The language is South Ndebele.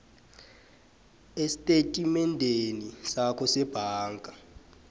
estatimendeni sakho sebhanka